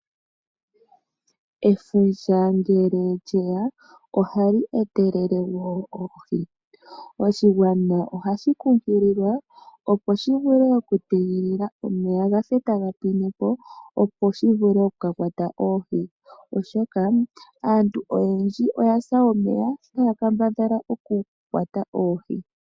Efundja ngele lye ya ohali etelele woo oohi. Oshigwana ohashi kunkililwa shi tege omeya gafe taga pwinepo opo shi vule okukakwata oohi, oshoka aantu oyendji oya sa omeya taa kambadhala okukwata oohi.